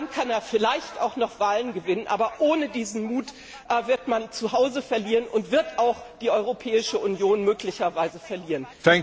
Dann kann er vielleicht auch noch Wahlen gewinnen, aber ohne diesen Mut wird man zuhause verlieren und wird auch die Europäische Union möglicherweise verlieren.